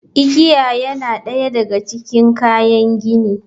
Igiya yana ɗaya daga cikin kayan gini.